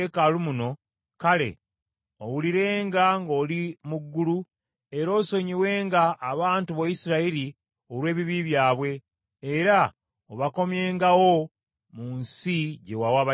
kale owulirenga ng’oli mu ggulu, era osonyiwenga abantu bo Isirayiri olw’ebibi byabwe, era obakomyengawo mu nsi gye wawa bajjajjaabwe.